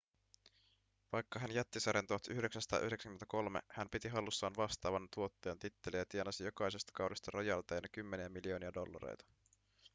vaikka hän jätti sarjan 1993 hän piti hallussaan vastaavan tuottajan titteliä ja tienasi jokaisesta kaudesta rojalteina kymmeniä miljoonia dollareita